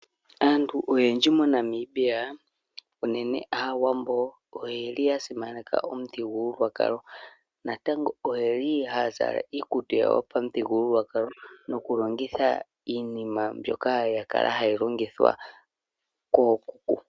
Aantu oyendji MoNamibia unene aawambo oyeli ya simaneka omuthigululwakalo, natango oyo yeli haya zala iikutu yopamu thigululwakalo noku longitha iinima, mbyoka yakala hayi longithwa koo kuku.